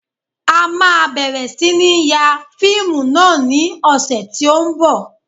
A máa bẹ̀rẹ̀ sí ní ń ya fíìmù náà ní ọ̀sẹ̀ tí ó ń bọ̀